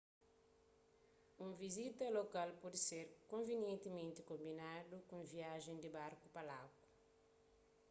un vizita a lokal pode ser konvinientimenti konbinadu ku un viajen di barku pa lagu